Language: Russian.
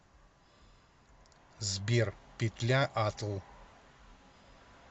сбер петля атл